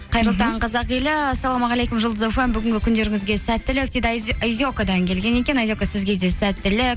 қайырлы таң қазақ елі ассалаумағалейкум жұлдыз фм бүгінгі күндеріңізге сәттілік дейді айзекадан келген екен айзека сізге де сәттілік